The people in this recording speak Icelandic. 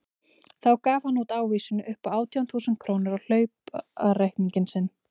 Þá gaf hann út ávísun upp á átján þúsund krónur á hlaupareikning sinn.